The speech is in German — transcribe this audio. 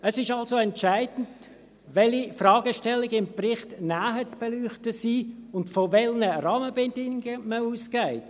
Es ist also entscheidend, welche Fragestellungen im Bericht näher zu beleuchten sind und von welchen Rahmenbedingungen man ausgeht.